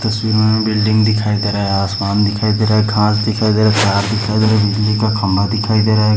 इस तस्वीर में हमे बिल्डिंग दिखाई दे रहा है आसमान दिखाई दे रहा है घास दिखाई दे रहा है तार दिखाई दे रहा है बिजली का खंभा दिखाई दे रहा है।